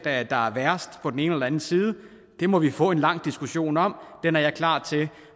er der er værst på den ene eller den anden side det må vi få en lang diskussion om og den er jeg klar til